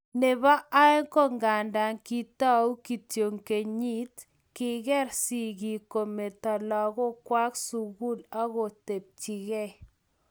Nebo oeng konganda kitou kityo kenyit, kiker sigik kometoi lagokwai eng sukul agobechikei